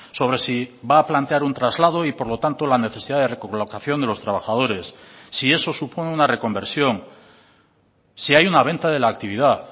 sobre si va a plantear un traslado y por lo tanto la necesidad de recolocación de los trabajadores si eso supone una reconversión si hay una venta de la actividad